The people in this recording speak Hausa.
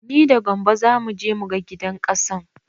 Ni da gambo zamu je mu ga gidan ƙasan.